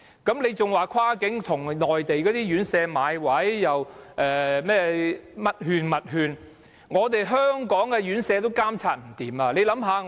你還說要跨境，要向內地院舍買位，又說甚麼這種券、那種券，卻連在香港的院舍也監察不來。